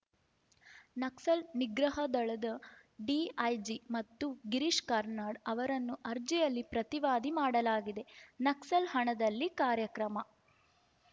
ನಕ್ಸಲ್‌ ನಿಗ್ರಹ ದಳದ ಡಿಐಜಿ ಮತ್ತು ಗಿರೀಶ್‌ ಕಾರ್ನಾಡ್‌ ಅವರನ್ನು ಅರ್ಜಿಯಲ್ಲಿ ಪ್ರತಿವಾದಿ ಮಾಡಲಾಗಿದೆ ನಕ್ಸಲ್‌ ಹಣದಲ್ಲಿ ಕಾರ್ಯಕ್ರಮ